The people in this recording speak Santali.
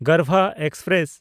ᱜᱚᱨᱵᱷᱟ ᱮᱠᱥᱯᱨᱮᱥ